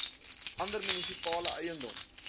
ander munisipale eiendom